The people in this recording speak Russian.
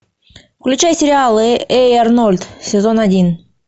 включай сериал эй арнольд сезон один